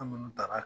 An minnu ta ka